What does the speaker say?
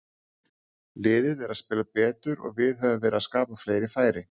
Liðið er að spila betur og við höfum verið að skapa fleiri færi.